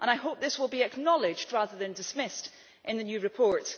I hope this will be acknowledged, rather than dismissed, in the new report.